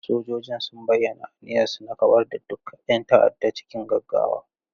Sojojin sun bayyana aniyarsu na kawar da duk 'yan ta'adda cikin gaggawa.